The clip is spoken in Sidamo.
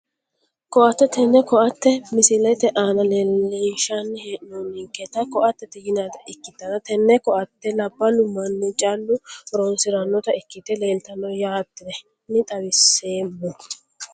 Koatte tene koate misilete aana leelinshani heenonketa koatete yinanita ikitana tene koate laballu mani callu horonsiranota ikite leeltano yaateni xawiseemo.